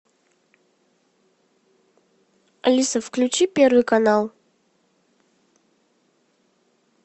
алиса включи первый канал